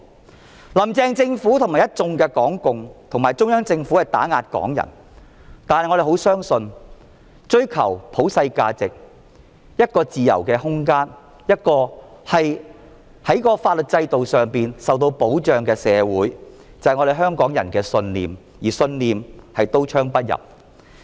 雖然"林鄭"政府與一眾港共及中央政府打壓港人，但我們相信追求普世價值、一個自由的空間、一個在法律制度上受到保障的社會是香港人的信念，而信念是刀槍不入的。